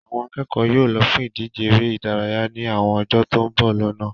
Àwọn akẹ́kọ̀ọ́ yóò lọ fún ìdíje eré ìdárayá ní àwọn ọjọ́ tó ń bọ̀ lọ́nà